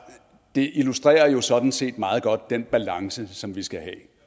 det illustrerer jo sådan set meget godt den balance som vi skal have